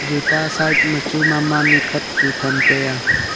toita side ma chu ma ma nikhat chu tham tai a.